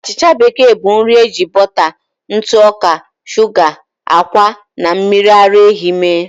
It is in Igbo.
Achịcha bekee bụ nri eji bọta, ntụ ọka, shuga, ákwà, na mmiri ara ehi mee.